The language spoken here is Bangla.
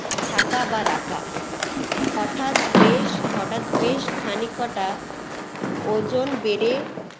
থাকা বা রাখা হঠাৎ বেশ হঠাৎ বেশ ক্ষানিকটা ওজন বেড়ে